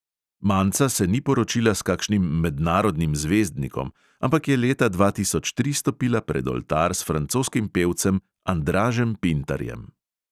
Manca se ni poročila s kakšnim mednarodnim zvezdnikom, ampak je leta dva tisoč tri stopila pred oltar s francoskim pevcem andražem pintarjem.